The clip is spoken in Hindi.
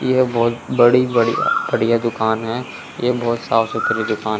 यह बहुत बड़ी बढ़िया बढ़िया दुकान है यह बहुत साफ सुथरी दुकान--